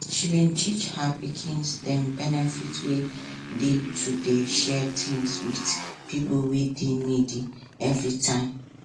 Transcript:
she bin teach her pikins dem benefit wey dey to dey share things with pipo wey dey needy everytime